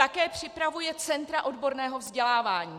Také připravuje centra odborného vzdělávání.